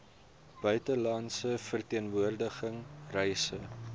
buitelandse verteenwoordiging reise